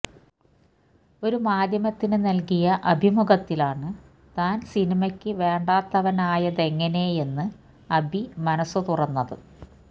ഒരു മധ്യമത്തിന് നല്കിയ അഭിമുഖത്തിലാണ് താന് സിനിമയ്ക്കു വേണ്ടാത്തവനായതെങ്ങനെയെന്ന് അബി മനസുതുറന്നത്